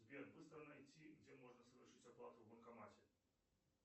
сбер быстро найти где можно совершить оплату в банкомате